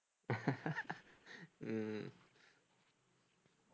உம்